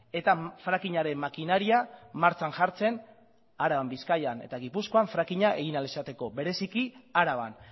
eta frackingaren makinaria martxan jartzen araban bizkaian eta gipuzkoan frackinga egin ahal izateko bereziki araban